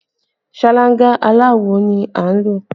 Ṣáláńgá aláwò ni a ń lò